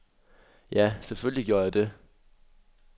Ja, selvfølgelig gjorde jeg det.